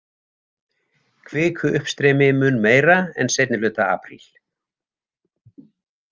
Kvikuuppstreymi mun meira en seinni hluta apríl.